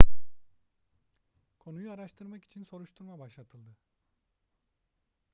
konuyu araştırmak için soruşturma başlatıldı